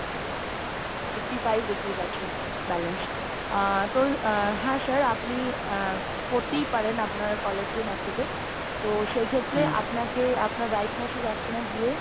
eighty five rupees আছে, balance, আ তো হ্যাঁ sir আপনি আ করতেই পারেন আপনার caller tune activate টো সেই ক্ষেত্রে আপনাকে আপনার write message option এ গিয়ে